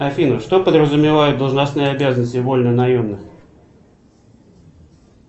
афина что подразумевают должностные обязанности вольнонаемных